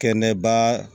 Kɛnɛba